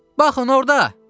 Baxın orda!